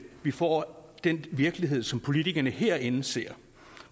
vi får den virkelighed som politikerne herinde ser